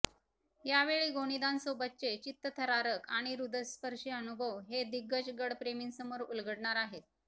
यावेळी गोनीदांसोबतचे चित्तथरारक आणि हृदयस्पर्शी अनुभव हे दिग्गज गडप्रेमींसमोर उलगडणार आहेत